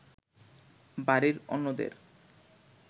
বাড়ির অন্যদের